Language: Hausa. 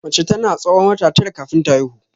Mace tana tsawon wata tara kafin ta haihu.